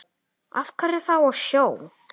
Af hverju þá á sjó?